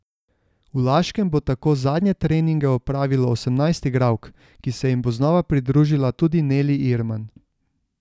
V Laškem bo tako zadnje treninge opravilo osemnajst igralk, ki se jim bo znova pridružila tudi Neli Irman.